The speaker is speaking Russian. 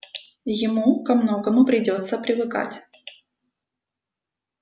ему ко многому придётся привыкать